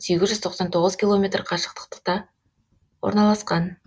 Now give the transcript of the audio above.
сегіз жүз тоқсан тоғыз километр қашықтықта орналасқан